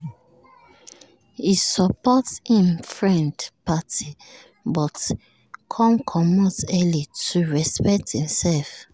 he support him friend party but him come comot early to respect himself